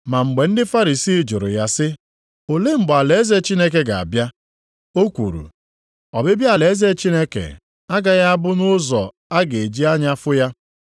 Ma mgbe ndị Farisii jụrụ ya sị, Olee mgbe alaeze Chineke ga-abịa? O kwuru, “Ọbịbịa alaeze Chineke agaghị a bụ nʼụzọ a ga-eji anya efu hụ ya.